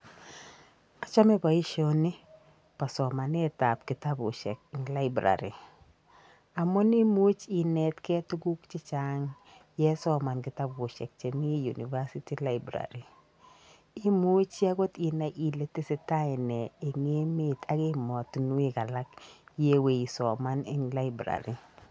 Achame boisioni bo somanetab kitabusiek eng Library. Amun imuchi inetgei tuguk chechang ye isoman kitabusiek chemi University Library. Imuchi agot inai ile tesetai nee eng emeet ak emotinwek alak yeiwe isoman eng Library.